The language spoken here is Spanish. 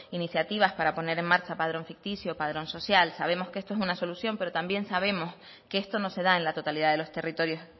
iniciativas para poner en marcha padrón ficticio padrón social sabemos que esto es una solución pero también sabemos que esto no se da en la totalidad de los territorios